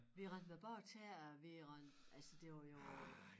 Vi rendte med bare tæer og vi rendte altså det var jo øh